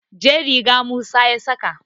jar riga Musa ya saka